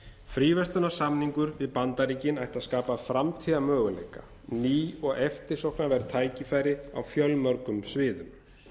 fríverslunarsamningur við bandaríkin ætti að skapa framtíðarmöguleika ný og eftirsóknarverð tækifæri á fjölmörgum sviðum